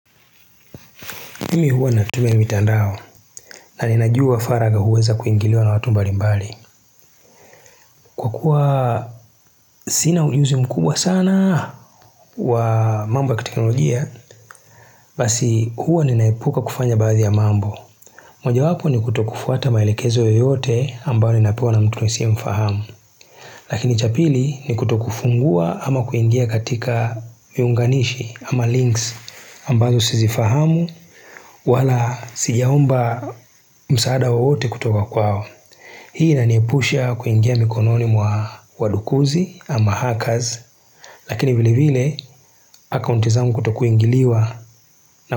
Mimi huwa natuma mitandao na ninajua faragha huweza kuingiliwa na watu mbali mbali. Kwa kuwa sina ujuzi mkubwa sana wa mambo ya kiteknolojia, basi huwa ninaepuka kufanya baadhi ya mambo. Mojawapo ni kutokufuata maelekezo yoyote ambayo ninapewa na mtu nisiyemfahamu. Lakini cha pili ni kutokufungua ama kuingia katika miunganishi ama links ambazo sizifahamu. Wala sijaomba msaada wowote kutoka kwao hii inaniepusha kuingia mikononi mwa wadukuzi ama hackers lakini vile vile akaunt izangu kutokuingiliwa.